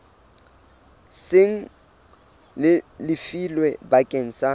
seng le lefilwe bakeng sa